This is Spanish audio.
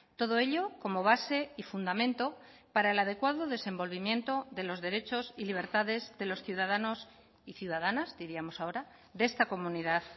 todo ello como base y fundamento para el adecuado desenvolvimiento de los derechos y libertades de los ciudadanos y ciudadanas diríamos ahora de esta comunidad